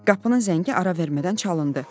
Qapının zəngi ara vermədən çalındı.